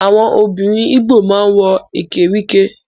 Àwọn obìnrin igbó ma ń wọ Ekwerike